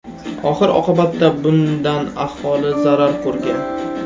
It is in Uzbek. Oxir oqibatda bundan aholi zarar ko‘rgan.